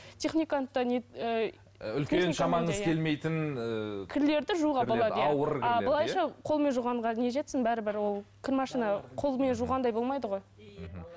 техниканы да ііі былайша қолмен жуғанға не жетсін бәрібір ол кір машина қолмен жуғандай болмайды ғой